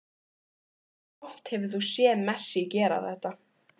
Hversu oft hefur þú séð Messi gera þetta?